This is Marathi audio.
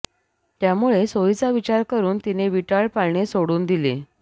त्यामुळे सोयीचा विचार करून तिने विटाळ पाळणे सोडून दिले